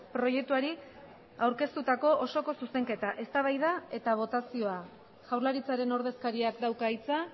proiektuari aurkeztutako osoko zuzenketa eztabaida eta botazioa jaurlaritzaren ordezkariak dauka hitza